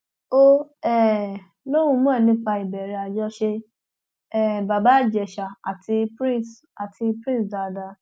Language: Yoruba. ó um lóun mọ nípa ìbẹrẹ àjọṣe um bàbá ìjèṣà àti prince àti prince dáadáa